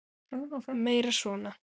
Meira svona!